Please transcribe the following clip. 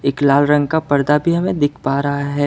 एक लाल रंग का पर्दा भी हमे दिख पा रहा है।